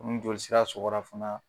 Ko ni joli sira sɔgɔrafana.